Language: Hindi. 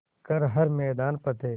कर हर मैदान फ़तेह